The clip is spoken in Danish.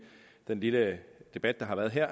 lille debat der været her